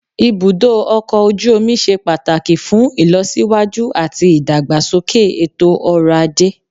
Ibùdó ọkọ̀ ojú omi ṣe pàtàkì fún ìlọsíwájú àti ìdàgbàsókè ètò ọ̀rọ̀ ajé.